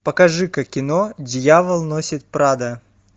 покажи ка кино дьявол носит прадо